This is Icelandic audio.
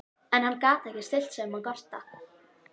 En hann gat ekki stillt sig um að gorta.